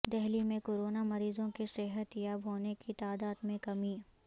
دہلی میں کورونا مریضوں کےصحت یاب ہونے کی تعداد میں کمی